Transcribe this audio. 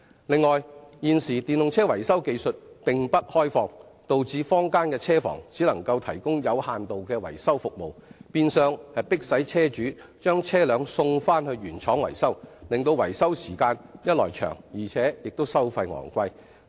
此外，現時電動車維修技術並不開放，導致坊間的車房只能提供有限度的維修服務，變相迫使車主把汽車送回原廠維修，一來令維修時間延長，二來維修費用亦高昂。